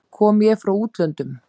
Kom ég frá útlöndum?